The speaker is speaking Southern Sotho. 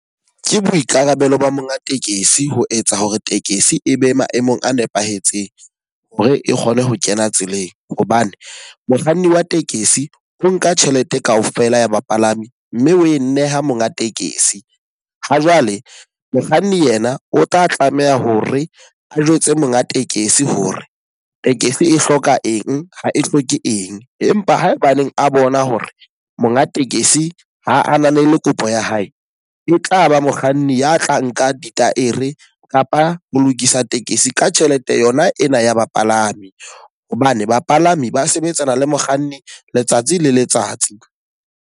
Ke boikarabelo ba monga tekesi ho etsa hore tekesi e be maemong a nepahetseng. Ho re e kgone ho kena tseleng. Hobane mokganni wa tekesi o nka tjhelete ka ofela ya bapalami mme o e nneha monga tekesi. Ha jwale mokganni yena o tla tlameha hore a jwetse monga tekesi hore tekesi e hloka eng, ha e hloke eng. Empa haebaneng a bona hore monga tekesi ho ananele kopo ya hae. E tlaba mokganni ya tla nka ditaere kapa ho lokisa tekesi ka tjhelete yona ena ya bapalami. Hobane bapalami ba sebetsana le mokganni letsatsi le letsatsi.